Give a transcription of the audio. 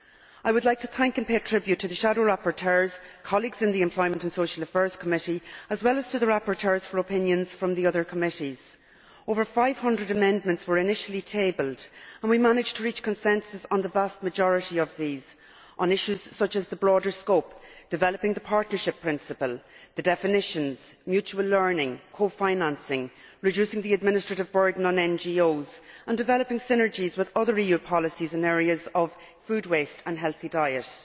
I would like to thank and pay tribute to the shadow rapporteurs, to my colleagues in the Employment and Social Affairs Committee as well as to the rapporteurs for opinions from the other committees. Over 500 amendments were initially tabled, and we managed to reach consensus on the vast majority of these, on issues such as the broader scope, developing the partnership principle, the definitions, mutual learning, co financing, reducing the administrative burden on NGOs and developing synergies with other EU policies in the area of food waste and healthy diet.